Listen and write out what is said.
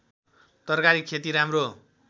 तरकारी खेती राम्रो